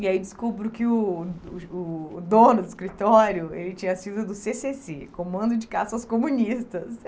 E aí descubro que o o o o dono do escritório ele tinha sido do cê cê cê, Comando de Caça aos Comunistas.